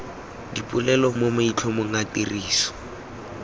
dipolelo mo maitlhomong a tiriso